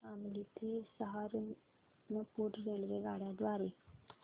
शामली ते सहारनपुर रेल्वेगाड्यां द्वारे